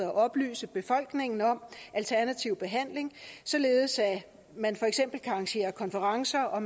og oplyse befolkningen om alternativ behandling således at man for eksempel kan arrangere konferencer og